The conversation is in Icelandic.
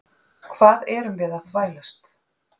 Hvað erum við að þvælast?